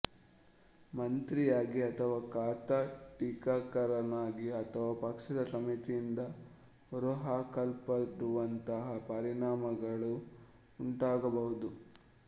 ಮಂತ್ರಿಯಾಗಿ ಅಥವಾ ಖಾತಾ ಟೀಕಾಕಾರನಾಗಿ ಅಥವಾ ಪಕ್ಷದ ಸಮಿತಿಯಿಂದ ಹೊರಹಾಕಲ್ಪಡುವಂತಹ ಪರಿಣಾಮಗಳು ಉಂಟಾಗಬಹುದು